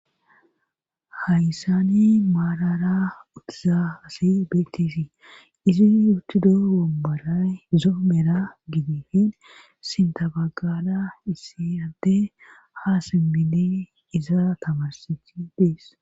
Hayssani maalara utiza hasi beeteesii izin uttudo womboray zoomera gidifin sintabagala issi ante haa simmini iza tamarsichi dees